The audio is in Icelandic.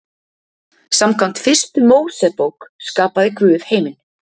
Samkvæmt Fyrstu Mósebók skapaði Guð heiminn.